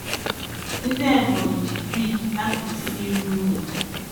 Ndị Ebonyi ji brick apịtị rụọ ụlọ.